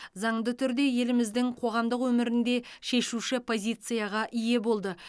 заңды түрде еліміздің қоғамдық өмірінде шешуші позицияға ие болды